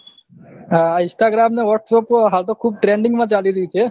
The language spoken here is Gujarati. હા instagram ને whatsapp હાલ તો ખુબ trending માં ચાલી રહ્યું છે